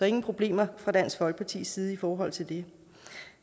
ingen problemer fra dansk folkepartis side i forhold til det